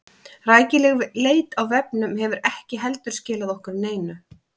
Rækileg leit á vefnum hefur ekki heldur skilað okkur neinu.